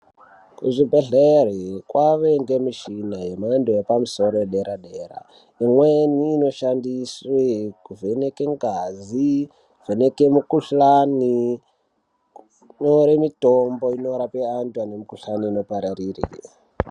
Kuzvibhedhlera kwakuwanikwa mishina yemhando yepamusoro yedera dera imweni inoshandiswa kuvheneka ngazi kuvheneka mikuhlani kutora mitombo inorapa antu ane mikuhlani inopararire.